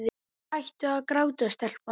Hættu að gráta, telpa mín.